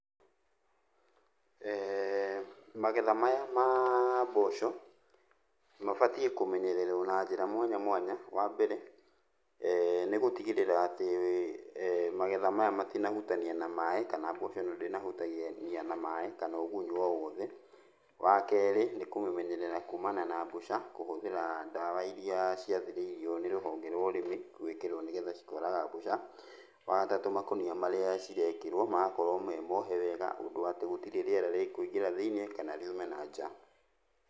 Magetha maya ma mboco, mabatiĩ kũmenyererwo na njĩra mwanya mwanya. Wambere, nĩgũtigĩrĩra atĩ magetha maya matinahutania na maĩ, kana mboco ĩno ndĩnahutania na maĩ, kana ũgunyũ o wothe. Wakerĩ nĩkũmĩmenyerera kumana na mbũca kũhũthĩra ndawa iria ciathĩrĩirio nĩ rũhonge rwa ũrĩmi gwĩkĩrwo nĩgetha cikoraga mbũca. Wagatatũ makũnia marĩa cirekĩrwo magakorwo me mohe wega, ũndũ atĩ gũtirĩ rĩera rĩkũingĩra thĩiniĩ kana riume na nja.